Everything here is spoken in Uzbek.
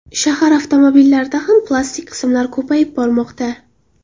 Shahar avtomobillarida ham plastik qismlar ko‘payib bormoqda.